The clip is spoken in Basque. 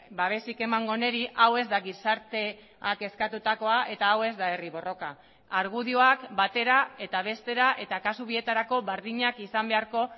babesik emango honi hau ez da gizarteak eskatutakoa eta hau ez da herri borroka argudioak batera eta bestera eta kasu bietarako berdinak izan beharko